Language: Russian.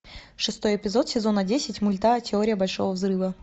шестой эпизод сезона десять мульта теория большого взрыва